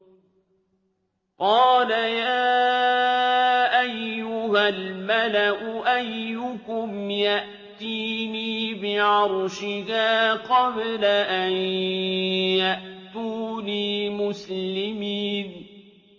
قَالَ يَا أَيُّهَا الْمَلَأُ أَيُّكُمْ يَأْتِينِي بِعَرْشِهَا قَبْلَ أَن يَأْتُونِي مُسْلِمِينَ